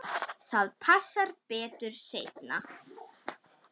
Það passar betur seinna.